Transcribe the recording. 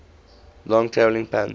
long traveling pairs